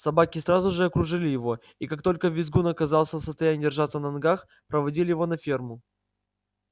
собаки сразу же окружили его и как только визгун оказался в состоянии держаться на ногах проводили его на ферму